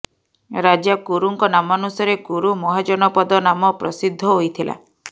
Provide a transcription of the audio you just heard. ରାଜା କୁରୁଙ୍କ ନାମାନୁସାରେ କୁରୁ ମହାଜନପଦ ନାମ ପ୍ରସିଦ୍ଧ ହୋଇଥିଲା